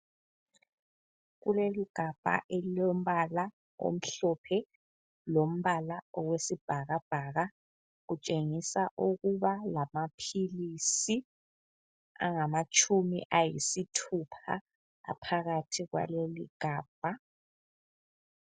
Kuleligabha elilombala omhlophe lombala owesibhakabhaka kutshengisa ukuba lamaphilisi angamatshumi ayisithupha aphakathi kwaleligabha.